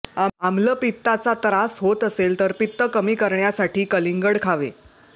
आम्लपित्ताचा त्रास होत असेल तर पित्त कमी करण्यासाठी कलिंगड खावे